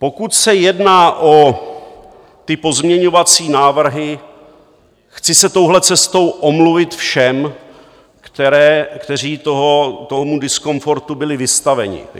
Pokud se jedná o ty pozměňovací návrhy, chci se touhle cestou omluvit všem, kteří tomu diskomfortu byli vystaveni.